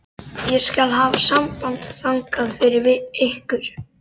Ég skal hafa samband þangað fyrir ykkur.